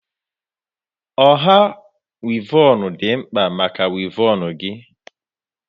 Ọha wivon dị mkpa maka wivon gị